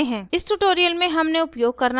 इस ट्यूटोरियल में हमने उपयोग करना सीखा